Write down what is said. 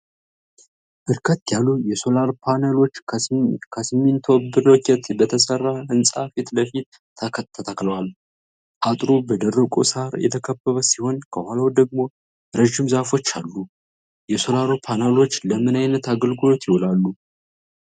በርከት ያሉ የሶላር ፓነሎች ከሲሚንቶ ብሎኬት በተሰራ ህንጻ ፊት ለፊት ተተክለዋል። አጥሩ በደረቁ ሳር የተከበበ ሲሆን ከኋላው ደግሞ ረዣዥም ዛፎች አሉ። የሶላር ፓነሎቹ ለምን አይነት አገልግሎት ይውላሉ?